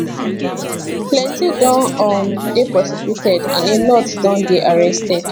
plenti don um dey prosecuted and a lot don dey arrested